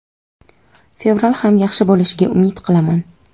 Fevral ham yaxshi bo‘lishiga umid qilaman.